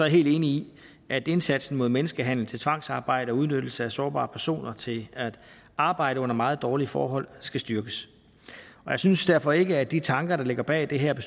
helt enig i at indsatsen mod menneskehandel til tvangsarbejde og udnyttelse af sårbare personer til at arbejde under meget dårlige forhold skal styrkes og jeg synes derfor ikke at de tanker der ligger bag det her